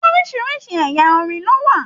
Orísirísi ẹ̀yà orin ló wà.